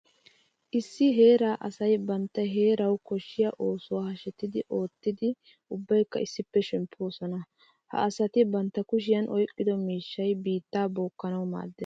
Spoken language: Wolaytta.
Issi heera asay bantta heerawu koshiya oosuwa hashetti oottiddi ubbaykka issippe shempposonna. Ha asatti bantta kushiya oyqqiddo miishshay biitta bookkanawu maades.